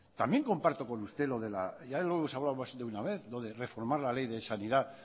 también comparto con usted lo de ya lo hemos hablado más de una vez de lo reformar la ley de sanidad